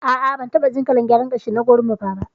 A'a bantaɓa jin kalar gyaran gashi na gorimafa ba.